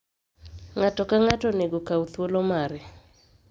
ng'ato ka ng'ato onego kawu thuolo mare